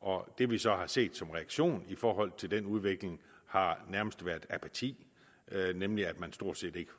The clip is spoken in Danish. og det vi så har set som reaktion i forhold til den udvikling har nærmest været apati nemlig at man stort set ikke